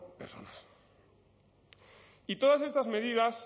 personas y todas estas medidas